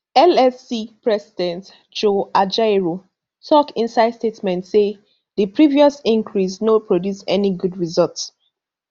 nlc president joe ajaero tok inside statement say di previous increase no produce any good result